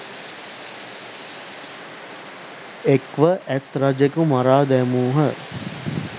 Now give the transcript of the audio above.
එක්ව ඇත් රජකු මරා දැමූහ